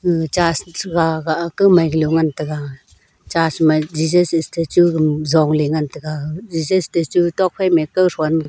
gag churs cha ga ga kaumai ga lo ngantaga churs ma jesus statue dam zongley ngantaga jesus statue tok phaima kauthon.